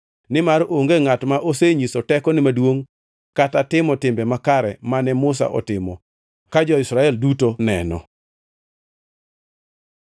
Nimar onge ngʼat ma osenyiso tekone maduongʼ kata timo timbe makare mane Musa otimo ka jo-Israel duto neno.